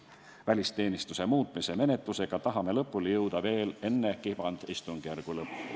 Välisteenistuse seaduse muutmise menetlusega tahame lõpuni jõuda veel enne kevadistungjärgu lõppu.